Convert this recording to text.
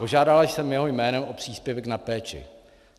Požádala jsem jeho jménem o příspěvek na péči.